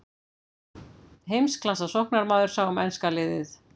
Heimsklassa sóknarmaður sá um enska liðið.